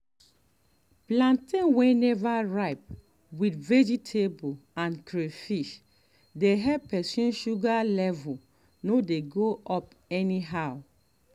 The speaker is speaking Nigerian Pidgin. plantain wey never ripe with vegetable and crayfish dey help person sugar level no dey go up anyhow